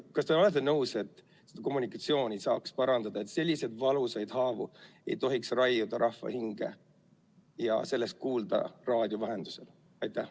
Kas te olete nõus, et kommunikatsiooni saaks parandada, et selliseid valusaid haavu ei tohiks raiuda rahva hinge ja sellest ei peaks kuulma raadio vahendusel?